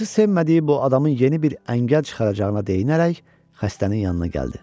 Hacı sevmədiyi bu adamın yeni bir əngəl çıxaracağına dəyinərək xəstənin yanına gəldi.